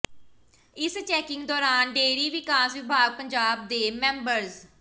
ਇਸ ਚੈਕਿੰਗ ਦੌਰਾਨ ਡੇਅਰੀ ਵਿਕਾਸ ਵਿਭਾਗ ਪੰਜਾਬ ਦੇ ਮੈਂਬਰਜ਼